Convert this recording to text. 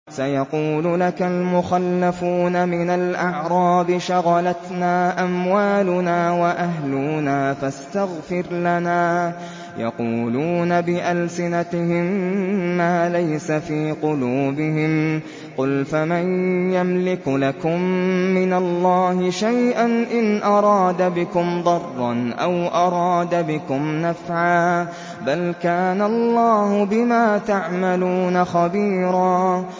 سَيَقُولُ لَكَ الْمُخَلَّفُونَ مِنَ الْأَعْرَابِ شَغَلَتْنَا أَمْوَالُنَا وَأَهْلُونَا فَاسْتَغْفِرْ لَنَا ۚ يَقُولُونَ بِأَلْسِنَتِهِم مَّا لَيْسَ فِي قُلُوبِهِمْ ۚ قُلْ فَمَن يَمْلِكُ لَكُم مِّنَ اللَّهِ شَيْئًا إِنْ أَرَادَ بِكُمْ ضَرًّا أَوْ أَرَادَ بِكُمْ نَفْعًا ۚ بَلْ كَانَ اللَّهُ بِمَا تَعْمَلُونَ خَبِيرًا